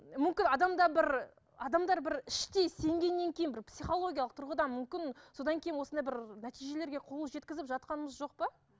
мүмкін адамда бір адамдар бір іштей сенгеннен кейін бір психологиялық түрғыдан мүмкін содан кейін осындай бір нәтижелерге қол жеткізіп жатқанымыз жоқ па